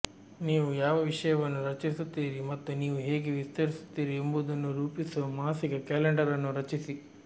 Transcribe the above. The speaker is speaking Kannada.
ನೀವು ಯಾವ ವಿಷಯವನ್ನು ರಚಿಸುತ್ತೀರಿ ಮತ್ತು ನೀವು ಹೇಗೆ ವಿತರಿಸುತ್ತೀರಿ ಎಂಬುದನ್ನು ರೂಪಿಸುವ ಮಾಸಿಕ ಕ್ಯಾಲೆಂಡರ್ ಅನ್ನು ರಚಿಸಿ